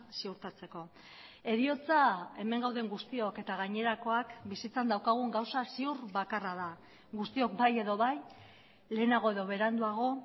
ziurtatzeko heriotza hemen gauden guztiok eta gainerakoak bizitzan daukagun gauza ziur bakarra da guztiok bai edo bai lehenago edo beranduago